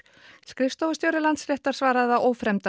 skrifstofustjóri Landsréttar svaraði að